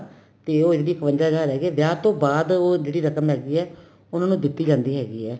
ਤੇ ਉਹ ਇਦੀ ਇਕਵੰਜਾ ਹਜਾਰ ਹੈਗੇ ਵਿੱਚ ਤੋਂ ਬਾਅਦ ਉਹ ਜਿਹੜੀ ਰਕਮ ਹੈਗੀ ਏ ਉਹਨਾ ਨੂੰ ਦਿੱਤੀ ਜਾਂਦੀ ਹੈਗੀ ਏ